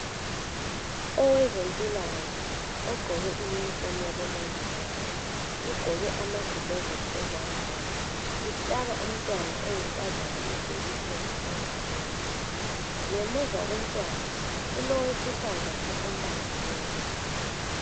Owezempilakahle ogqoke uniform yabomongikazi ugqoke amagilovisi ezandleni uhlaba umntwana oyinkazana ijekiseni engalweni ngemuva lomntwana kulowesifazane ombambileyo.